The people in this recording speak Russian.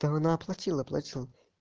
так она оплатила плачу